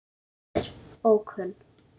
Móðir: Ókunn.